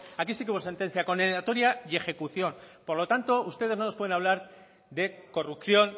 aquí sí que hubo sentencia condenatoria y ejecución por lo tanto ustedes no nos puede hablar de corrupción